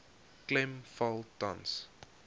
klem val tans